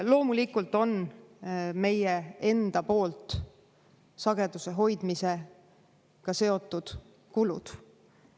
Loomulikult on meie enda poolt sageduse hoidmisega seotud kulud.